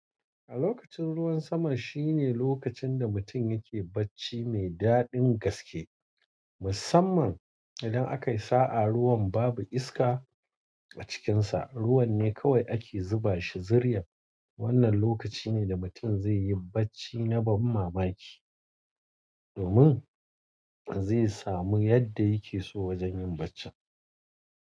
A lokacin ruwan sama shine lokacin da mutum yake bacci mai daɗin gaske, musamman idan akayi sa'a ruwan babu iska a cikinsa. Ruwan ne kawai ake zuba shi zuryan. Wannan lokaci ne da mutum zai yi bacci na ban mamaki domin zai samu yanda yake so wajen yin baccin.